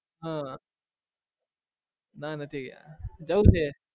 હા ના નથી ગયા જવું છે.